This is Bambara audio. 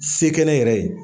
Se kɛ ne yɛrɛ ye